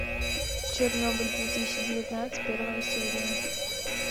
чернобыль две тысячи девятнадцать первая серия